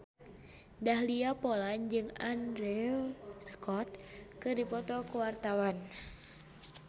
Dahlia Poland jeung Andrew Scott keur dipoto ku wartawan